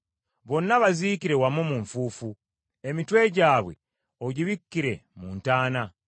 Bonna baziikire wamu mu nfuufu, emitwe gyabwe ogibikkire mu ntaana.